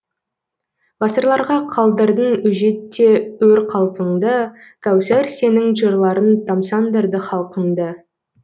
ғасырларға қалдырдың өжетте өр қалпыңды кәусар сенің жырларың тамсандырды халқыңды